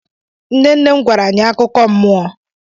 Nne nne m gwara anyị akụkọ nmụọ.